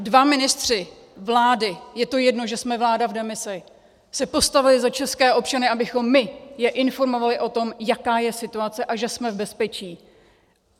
Dva ministři vlády, je to jedno, že jsme vláda v demisi, se postavili za české občany, abychom my je informovali o tom, jaká je situace a že jsme v bezpečí.